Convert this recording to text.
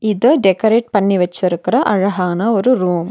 இத டெக்ரேட் பண்ணி வெச்சுருக்கற அழகான ஒரு ரூம் .